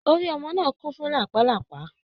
Orí ọmọ náà kún fún lápàlàpá.